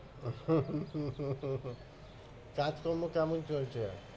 কাজকর্ম কেমন চলছে?